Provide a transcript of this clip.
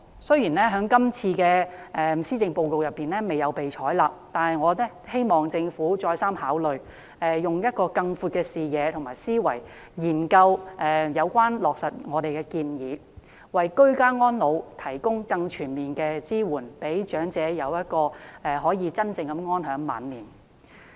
雖然建議在今次施政報告中未有被採納，但我希望政府再三考慮，用更闊的視野及思維，研究落實我們的建議，為居家安老提供更全面的支援，讓長者可以真正安享晚年。